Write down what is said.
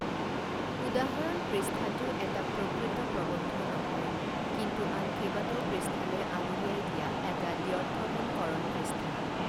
উদাহৰণ পৃষ্ঠাটো এটা প্ৰকৃত প্ৰবন্ধ নহয়, কিন্তু আন কেইবাটাও পৃষ্ঠালৈ আঙুলিয়াই দিয়া এটা দ্ব্যৰ্থহীনকৰণ পৃষ্ঠা।